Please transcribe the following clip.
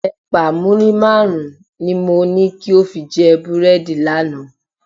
Ẹ̀pà muri márùn-ún ni mo ní kí o fi jẹ búrẹ́dì lánàá.